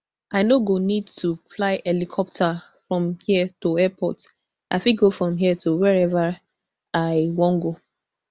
i no go need to fly helicopter from here to airport i fit go from here to wiaever i wan go